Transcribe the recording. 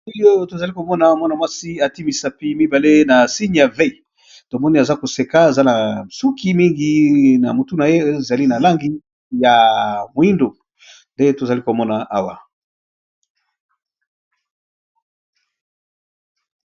Na elili oyo tozali komona mwana mwasi ati misapi mibale na signe ya vey tomoni aza koseka ezana suki mingi na motu na ye ezali na langi ya moindo nde tozali komona awa.